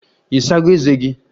Ị sago ezé gị?